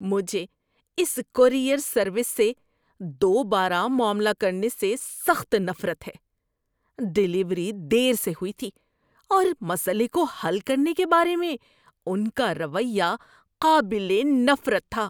مجھے اس courier service سے دوبارہ معاملہ کرنے سے سخت نفرت ہے۔ ڈیلیوری دیر سے ہوئی تھی، اور مسئلے کو حل کرنے کے بارے میں ان کا رویہ قابل نفرت تھا۔